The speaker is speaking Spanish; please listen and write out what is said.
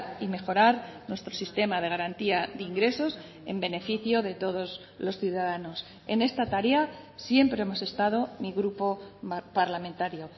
y mejorar nuestro sistema de garantía de ingresos en beneficio de todos los ciudadanos en esta tarea siempre hemos estado mi grupo parlamentario